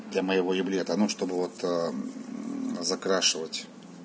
для моего еблета ну чтобы вот закрашивать